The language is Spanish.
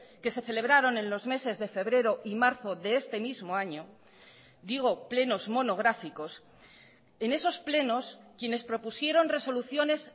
que se celebraron en los meses de febrero y marzo de este mismo año digo plenos monográficos en esos plenos quienes propusieron resoluciones